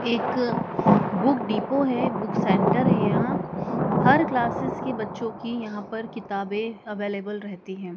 एक book depot हैं book centre हैं यहाँ हर क्लासेस की बच्चों की यहाँ पर किताबें अवेलेबल रेहती हैं।